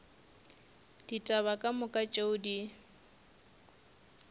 ditaba ka moka tšeo di